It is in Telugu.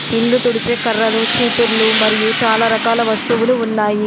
ఇల్లు తుడిచే కర్రలు చీపుర్లు మరియు చాలా రకాల వస్తువులు ఉన్నాయి.